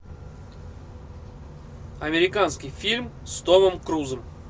американский фильм с томом крузом